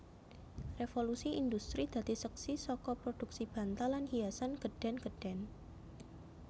Revolusi Indhustri dadi seksi saka prodhuksi bantal lan hiasan gedhèn gedhèn